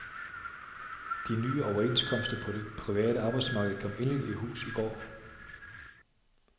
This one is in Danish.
De nye overenskomster på det private arbejdsmarked kom endeligt i hus i går.